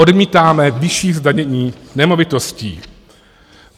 Odmítáme vyšší zdanění nemovitostí.